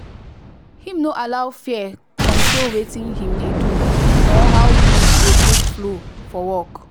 him no allow fear control watin him dey do or how things go take flow for work.